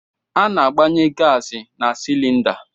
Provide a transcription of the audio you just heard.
Ana-agbanye gaasị na silinda.